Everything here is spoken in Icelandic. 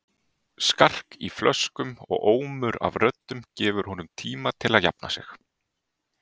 Skark í flöskum og ómur af röddum gefur honum tíma til að jafna sig.